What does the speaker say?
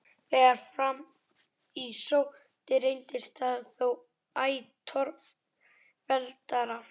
Þegar fram í sótti reyndist það þó æ torveldara.